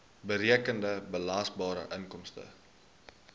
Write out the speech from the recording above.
berekende belasbare inkomste